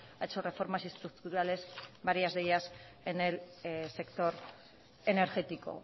ha hecho reformas estructurales varias de ellas en el sector energético